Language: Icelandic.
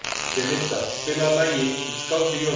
Belinda, spilaðu lagið „Um skáldið Jónas“.